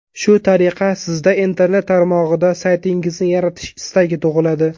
Shu tariqa, sizda internet tarmog‘ida saytingizni yaratish istagi tug‘iladi.